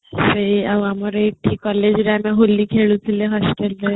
ଆଉ ଆମର ଏଠି college ରେ ଆମେ ହୋଲି ଖେଳୁଥିଲେ